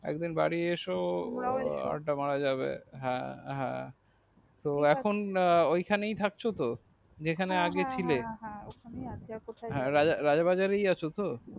একদিন বাড়ি এসো তোমায় এসো আড্ডা মারা যাবে হ্যা হ্যা তো এখন ঐখানেই থাকছো তো যেখানেই আগে ছিলে হ্যা হ্যা আর কোথায় যাবো রাজা বাজারেই আছো তো